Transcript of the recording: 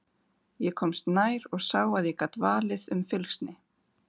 Ég komst nær og sá að ég gat valið um fylgsni.